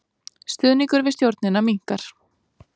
Stuðningur við stjórnina minnkar